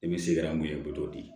I bɛ se ka mun ye i bɛ t'o di